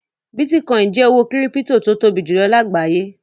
Bítíkọ́ìn jẹ́ owó kírípító tó tóbi jùlọ lágbàáyé.